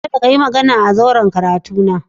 Kada ka yi magana a zauren karatuna